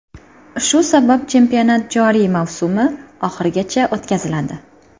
Shu sabab chempionat joriy mavsumi oxirigacha o‘tkaziladi.